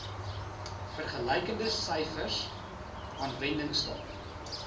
vergelykende syfers aanwendingstaat